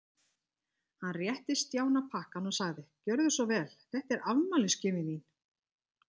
Hann rétti Stjána pakkann og sagði: Gjörðu svo vel, þetta er afmælisgjöfin þín.